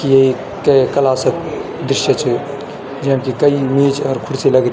ये कै क्लासक दृश्य च जैम कि कई मेज अर खुर्सी लगदी।